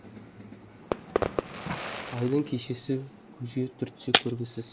айдың кешесі көзге түртсе көргісіз